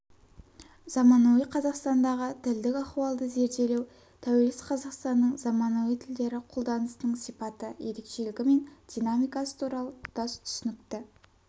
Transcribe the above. заманауи қазақстандағы тілдік ахуалды зерделеу тәуелсіз қазақстанның заманауи тілдері қолданысының сипаты ерекшелігі мен динамикасы туралы тұтас түсінікті